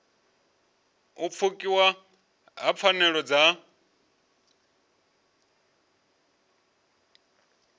u pfukiwa ha pfanelo dza